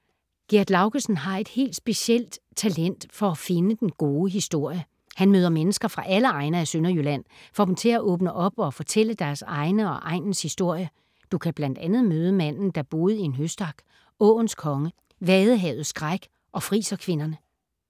Gerd Laugesen har et helt specielt talent for at finde den gode historie. Hun møder mennesker fra alle egne af Sønderjylland, får dem til at åbne op og fortælle deres egen og egnens historie. Du kan bl.a. møde manden, der boede i en høstak, Åens konge, Vadehavets Skræk og friserkvinderne.